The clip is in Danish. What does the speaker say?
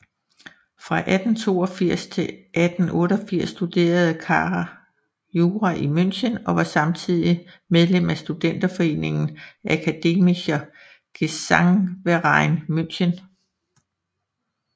Fra 1882 til 1888 studerede Kahr jura i München og var samtidig medlem af studenterforeningen Akademischer Gesangverein München